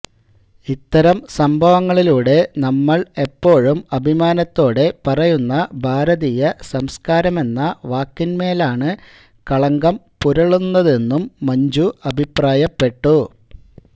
ഇത്തരം സംഭവങ്ങളിലൂടെ നമ്മള് എപ്പോഴും അഭിമാനത്തോടെ പറയുന്ന ഭാരതീയ സംസ്കാരമെന്ന വാക്കിന്മേലാണ് കളങ്കം പുരളുന്നതെന്നും മഞ്ജു അഭിപ്രായപ്പെട്ടു